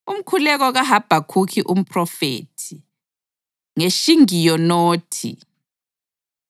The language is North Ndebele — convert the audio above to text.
Umkhuleko kaHabhakhukhi umphrofethi. NgeShigiyonothi.